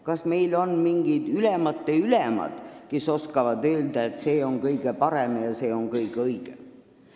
Kas meil on mingid ülemate ülemad, kes oskavad öelda, et see on kõige parem ja see on kõige õigem?